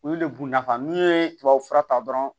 Olu le bunda kan n'i ye tubabufura ta dɔrɔn